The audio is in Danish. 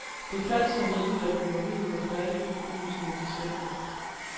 Det faldt så heldigt, at byggeriet var færdigt i begyndelsen af december.